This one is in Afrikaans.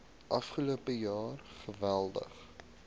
afgelope jaar geweldig